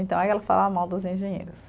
Então, aí ela falava mal dos engenheiros.